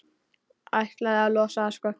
Ætlaði að losa það, sko.